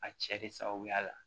A cɛ de sababuya la